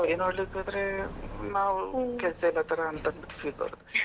ಹಾಗೆ ನೋಡಲಿಕ್ಕೆ ಹೋದ್ರೆ ನಾವು ಕೆಲಸ ಇಲ್ಲದ ತರ ಅಂತ feel ಬರುತ್ತೆ.